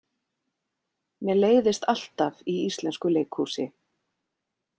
Mér leiðist alltaf í íslensku leikhúsi.